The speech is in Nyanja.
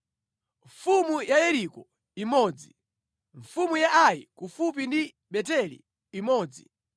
mfumu ya Yeriko imodzi mfumu ya Ai (kufupi ndi Beteli imodzi